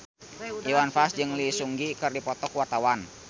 Iwan Fals jeung Lee Seung Gi keur dipoto ku wartawan